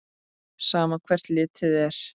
Sama hvert litið er.